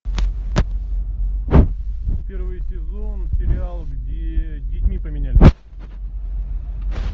первый сезон сериал где детьми поменялись